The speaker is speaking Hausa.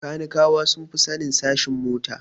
Kanikawa sun fi sanin sashen mota